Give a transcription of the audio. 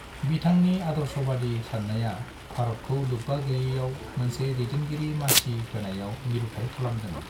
बिथांनि आदर्शबादि साननायया भारतखौ लोबबा गैयैआव मोनसे दैदेनगिरिनि मासि होनायाव मिरुथाय खालामदों।